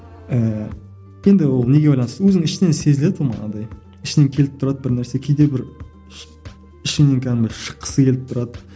ііі енді ол неге байланысты өзің ішіңнен сезіледі оны андай ішіңнен келіп тұрады бір нәрсе кейде бір ішіңнен кәдімгідей шыққысы келіп тұрады